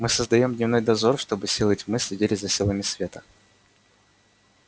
мы создаём дневной дозор чтобы силы тьмы следили за силами света